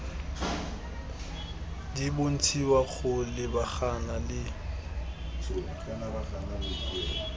di bontshiwa go lebagana le